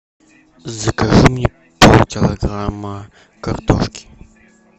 закажи мне полкилограмма картошки